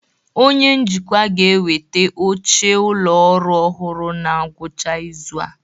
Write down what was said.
Onye njikwa ga-eweta oche ụlọ ọrụ ọhụrụ na ngwụcha izu a